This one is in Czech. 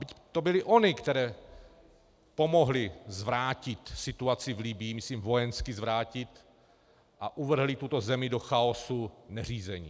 Byť to byly ony, které pomohly zvrátit situaci v Libyi - myslím vojensky zvrátit - a uvrhly tuto zemi do chaosu neřízení.